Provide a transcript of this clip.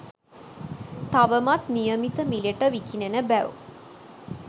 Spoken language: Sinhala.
තවමත් නියමිත මිලට විකිණෙන බැව්